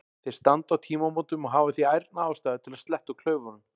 Þeir standa á tímamótum og hafa því ærna ástæðu til að sletta úr klaufunum.